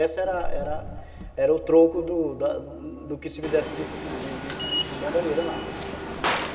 Esse era era o troco do que se fizesse de de de bandalheira lá.